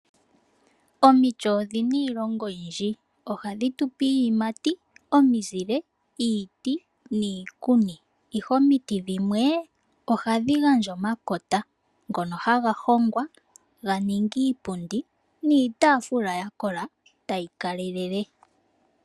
Omiti odhina iilonga oyindji, ohadhi tupe iiyimati, omizile, iiti niikuni. Ihe omiti dhimwe ohadhi gandja omakota ngono haga hongwa ga ninge iipundi niitaafula yakola tayi kalelele.